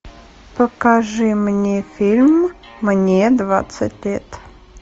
покажи мне фильм мне двадцать лет